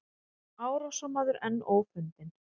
Árásarmaður enn ófundinn